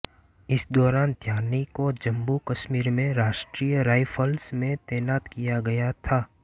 इस दौरान ध्यानी को जम्मूकश्मीर में राष्ट्रीय राइफल्स में तैनात किया गया था